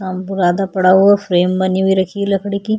सामरुदा पडा हुआ फ्रेम बनी हुई रखी है लकड़ी की --